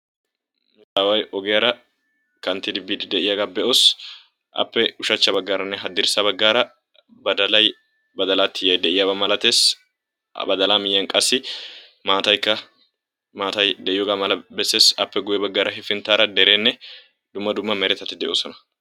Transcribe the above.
Aawa ogiyaara kanttidi biide de'iyaaga be'oos. Appe ushshachcha baggaaranne haddirssa baggaara badalay, badala tiyyay de'iyaaba milatees. Ha badala miyyiyan qassi maataykka maata de'iyooga bessees. Appe guyyee baggaara hepinttara derenne dumma dumma meretatti de'oosona.